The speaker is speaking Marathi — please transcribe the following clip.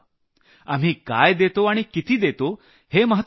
आपण काय देतो आणि किती देतो हे महत्वाचं नाही